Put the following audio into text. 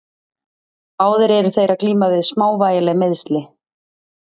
Báðir eru þeir að glíma við smávægileg meiðsli.